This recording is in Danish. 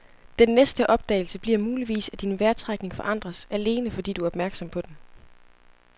Den næste opdagelse bliver muligvis, at din vejrtrækning forandres, alene fordi du er opmærksom på den.